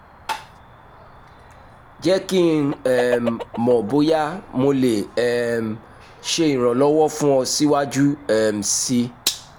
jẹ ki n um mọ boya mo le um ṣe iranlọwọ fun ọ siwaju um sii